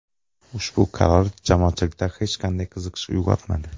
Ushbu qaror jamoatchilikda hech qanday qiziqish uyg‘otmadi.